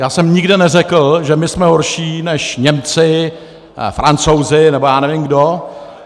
Já jsem nikde neřekl, že my jsme horší než Němci, Francouzi nebo já nevím kdo.